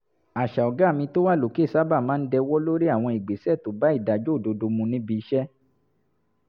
àṣà 'ọ̀gá mi tó wà lókè' sábà máa ń dẹwọ́ lórí àwọn ìgbésẹ̀ tó bá ìdájọ́ òdodo mu níbi iṣẹ́